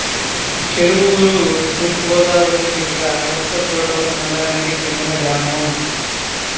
చెరువూరు తూర్పు గోదావరి జిల్లా రంపచోడవరం మండలానికి చెందిన గ్రామం